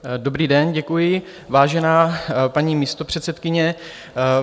Dobrý den, děkuji, vážená paní místopředsedkyně.